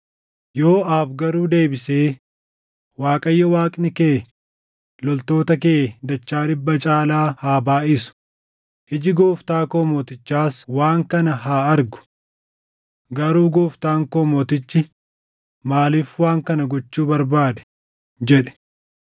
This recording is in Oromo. Yooʼaab garuu deebisee, “ Waaqayyo Waaqni kee loltoota kee dachaa dhibba caalaa haa baayʼisu; iji gooftaa koo mootichaas waan kana haa argu. Garuu gooftaan koo mootichi maaliif waan kana gochuu barbaade?” jedhe.